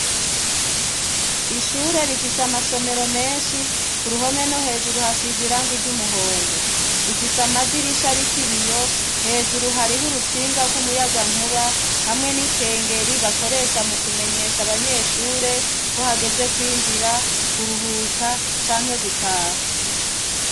Ishure rifise amasomero menshi ku ruhome no hejuru hasize irangi ry'umuhondo, rifise amadirisha ariko ibiyo hejuru hariho urutsinga rw'umuyagankuba hamwe n'ikengeri bakoresha mu kumenyesha abanyeshure ko hageze kwinjira, kuruhuka canke gutaha.